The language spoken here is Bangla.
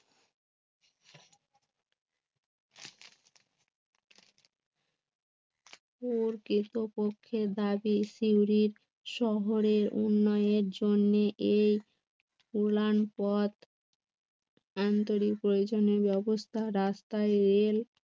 কেষ্ট কক্ষের দাগে শিউরির শহরের উন্নয়নের জন্যে এই উড়ান পথ আন্তরিক প্রয়োজনের ব্যবস্থা, রাস্তায় রেল